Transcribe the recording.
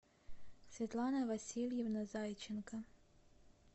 светлана васильевна зайченко